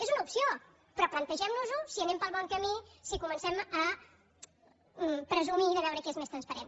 és una opció però plantegem nos ho si anem pel bon camí si comencem a presumir de veure qui és més transparent